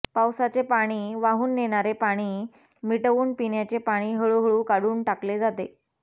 पावसाचे पाणी वाहून नेणारे पाणी मिटवून पिण्याने पाणी हळूहळू काढून टाकले जाते